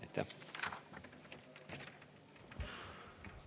Aitäh!